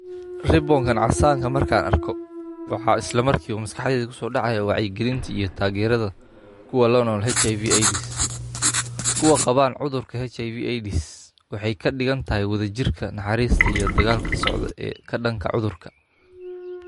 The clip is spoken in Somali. riboonkan casaankan markaan arko waxaa islamarkiba maskaxdeyda kusodacaya wacyigalinta iyotageeradha kuwa lanool HIV/AIDS. Kuwa qabaan HIV/AIDS waxey kadigantahy wadhajirka naxariista iyo dagaalka socda ee kadanka cudhurka.